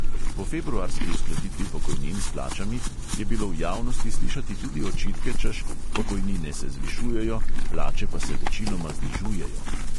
Po februarski uskladitvi pokojnin s plačami je bilo v javnosti slišati tudi očitke, češ – pokojnine se zvišujejo, plače pa se večinoma znižujejo ...